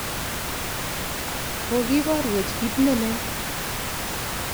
Kokiporwech kiit ne lel.